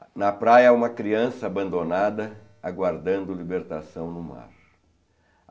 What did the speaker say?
Há na praia uma criança abandonada, aguardando libertação no mar.